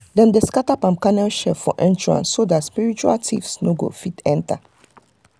dem dey scatter palm kernel shell for entrance so that spiritual thieves no go fit enter.